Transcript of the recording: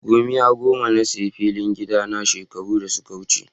Gomiya goma na sayi filin gida na shekaru da suka wuce.